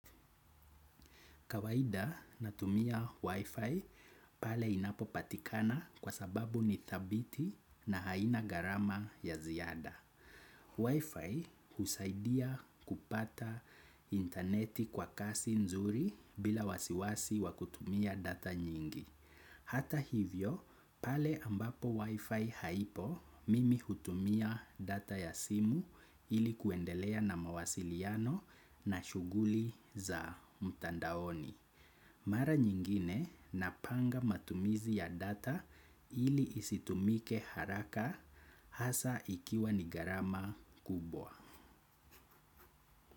Kawahida natumia Wi-Fi pale inapo patikana kwa sababu ni thabiti na haina garama ya ziada. Wi-Fi usaidia kupata interneti kwa kasi nzuri bila wasiwasi wakutumia data nyingi. Hata hivyo pale ambapo wifi haipo mimi hutumia data ya simu ilikuendelea na mawasiliano na shuguli za mtandaoni. Mara nyingine napanga matumizi ya data ili isitumike haraka hasa ikiwa nigarama kubwa.